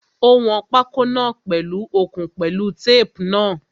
Ó wọn pákó náà pèlu okùn pẹ̀lú tape náà.